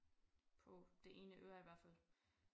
På det ene øre i hvert fald